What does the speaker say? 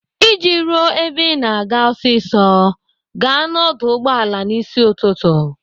Iji ruo ebe Ị na-aga ọsịsọ, gaa n'ọdụ ụgbọala n'ịsị ụtụtụ.